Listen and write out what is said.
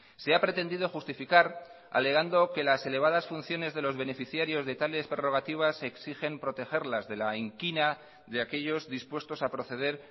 se ha pretendido justificar alegando que las elevadas funciones de los beneficiarios de tales prerrogativas exigen protegerlas de la inquina de aquellos dispuestos a proceder